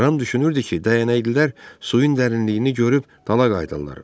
Ram düşünürdü ki, dəyənəklilər suyun dərinliyini görüb dala qayıdarlar.